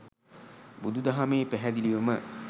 බුදු දහමේ පැහැදිලිවම